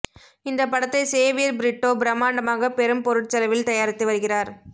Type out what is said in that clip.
இந்த படத்தை சேவியர் பிரிட்டோ பிரமாண்டமாக பெரும் பொருட்செலவில் தயாரித்து வருகிறார்